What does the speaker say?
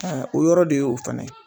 Aa o yɔrɔ de y'o fana ye